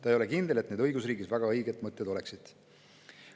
Ta ei ole ka kindel, et need õigusriigis väga õiged mõtted oleksid.